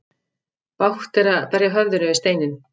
Bágt er að berja höfðinu við steinninn.